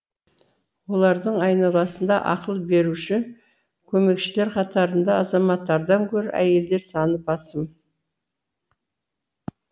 олардың айналасында ақыл беруші көмекшілер қатарында азаматтардан гөрі әйелдер саны басым